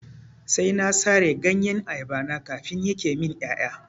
Sai na sare ganyen ayaba na kafin yake min ƴaƴa.